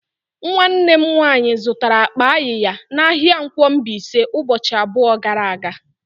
Nwannem nwanyi zụtara akpa ayiya n'ahia nkwo Mbaise ubochi abuo gara aga.